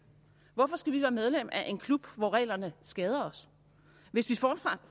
hvorfor skal vi være medlem af en klub hvor reglerne skader os hvis vi